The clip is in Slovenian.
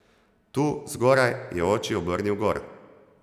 Tu, zgoraj, je oči obrnil gor.